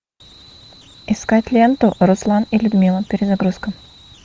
искать ленту руслан и людмила перезагрузка